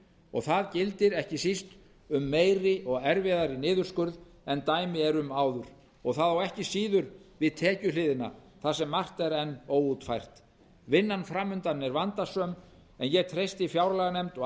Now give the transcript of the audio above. og það gildir ekki síst um meiri og erfiðari niðurskurð en dæmi eru um áður og það á ekki síður við um tekjuhliðina þar sem margt er enn óútfært vinnan fram undan er vandasöm og ég treysti fjárlaganefnd og